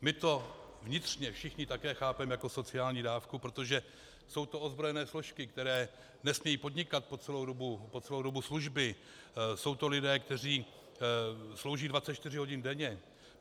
My to vnitřně všichni také chápeme jako sociální dávku, protože jsou to ozbrojené složky, které nesmějí podnikat po celou dobu služby, jsou to lidé, kteří slouží 24 hodin denně.